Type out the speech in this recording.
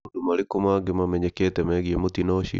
Nĩ maũndũ marĩkũ mangĩ mamenyekete megiĩ mũtino ũcio?